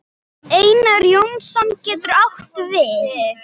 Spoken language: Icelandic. Einar Jónsson getur átt við